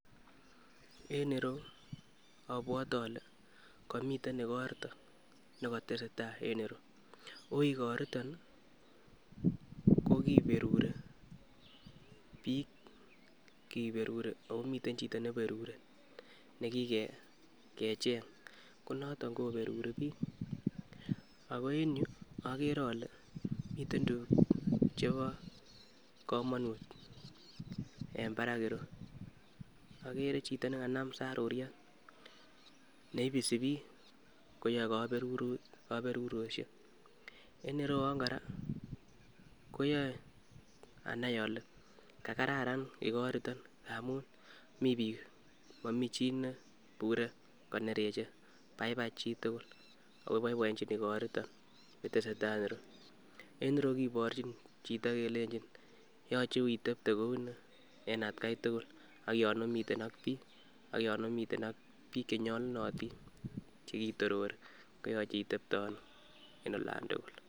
En ireyuu obwote ole komiten igorto nekotesetai en ireyu, oigoriton kokiberuri bik kiberuri omiten chito neiberuri nekikecheng, ko noton koberuri bik. Ako en yuu okere ole miten tukuk chebo komonut en barak ireyu, okere chito nekanam saruriet ne ibisi bik koyor koberuroshek en irewon koraa koyoe anan ole kakararan igoriton amun mii bik momii chii ne ibure konereche, baibai chitukuk ako boiboenchin igoriton nitesetai en yuton. En ireyuu kiborji chito kelelen yoche itepte kouni en atgai tuku ak yon omiten ak bik ak yon omiten ak bik chenyolunotin chekitorori koyoche itepte ono en olan tukul.